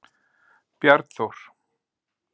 Bjarnþór